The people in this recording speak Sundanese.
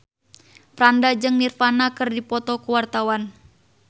Franda jeung Nirvana keur dipoto ku wartawan